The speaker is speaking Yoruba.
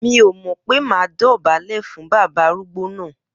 Mi o mò pẹ mà dọ bàlé fún bàbá àrúgbò nà